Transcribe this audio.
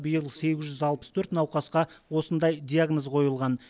биыл сегіз жүз алпыс төрт науқасқа осындай диагноз қойылған